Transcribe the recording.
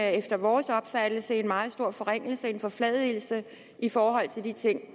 efter vores opfattelse en meget stor forringelse en forfladigelse i forhold til de ting